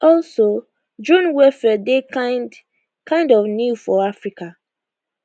also drone warfaredey kind kind of new for africa